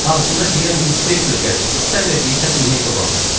Ağzımda deyirəm inspektor gəlir, sən də deyirsən inək doğanda.